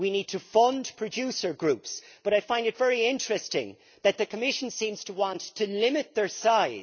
We need to fund producer groups, but I find it very interesting that the Commission seems to want to limit their size.